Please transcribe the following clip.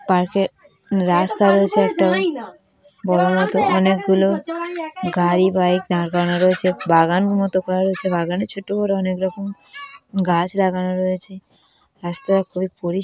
পার্কের রাস্তা রয়েছে একটা বড়োর মতন অনেকগুলো গাড়ি বাইক দাঁড় করানো রয়েছে বাগানের মতো করা রয়েছে বাগানে ছোট বড় অনেক রকম গাছ লাগানো রয়েছে রাস্তা খুবই পরিস--